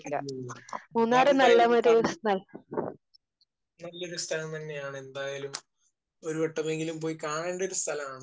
അയ്യോ. മൂന്നാർ എന്തായാലും നല്ലൊരു സ്ഥലം തന്നെയാണ്. എന്തായാലും ഒരു വട്ടമെങ്കിലും പോയി കാണേണ്ട ഒരു സ്ഥലമാണ്.